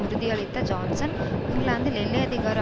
உறுதியளித்த Johnson இங்கிலாந்தில் எல்லை அதிகார